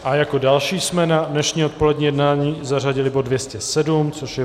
A jako další jsme na dnešní odpolední jednání zařadili bod 207, což je